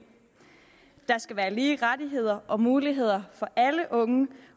der skal være lige rettigheder og lige muligheder for alle unge